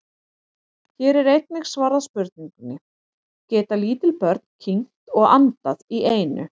Hér er einnig svarað spurningunni: Geta lítil börn kyngt og andað í einu?